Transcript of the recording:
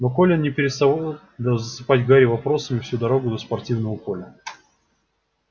но колин не переставал засыпать гарри вопросами всю дорогу до спортивного поля